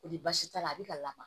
Ni baasi t'a la a bɛ ka lamaga